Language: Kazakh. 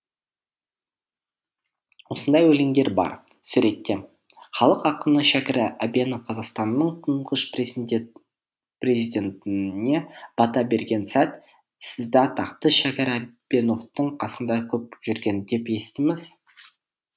осындай өлеңдер бар суретте халық ақыны шәкір әбенов қазақстанның тұңғыш президентіне бата берген сәт сізді атақты шәкір әбеновтің қасында көп жүрген деп естиміз